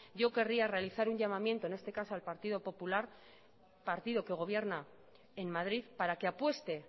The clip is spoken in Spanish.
yo querría realizar un llamamiento en este caso al partido popular partido que gobierna en madrid para que apueste